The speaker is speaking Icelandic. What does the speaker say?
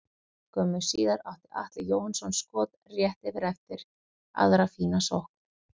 Skömmu síðar átti Atli Jóhannsson skot rétt yfir eftir aðra fína sókn.